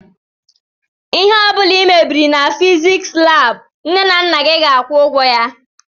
ihe ọbula i mebiri na fiziks lab nne na nna gị ga-akwu ụgwọ.